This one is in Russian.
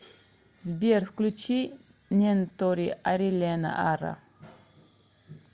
сбер включи нентори арилена ара